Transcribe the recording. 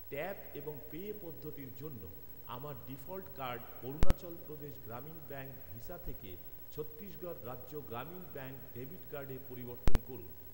Tap এবং pay পদ্ধতির জন্য আমার default card Arunachal Pradesh Gramin bank Visa থেকে ছত্তিশগড় রাজ্য গ্রামীণ ব্যাঙ্ক ডেবিট কার্ডে পরিবর্তন করুন।